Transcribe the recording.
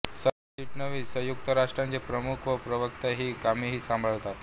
सरचिटणीस संयुक्त राष्ट्रांचे प्रमुख व प्रवक्ता ही कामेही संभाळतात